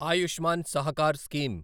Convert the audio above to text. Ayushman Sahakar scheme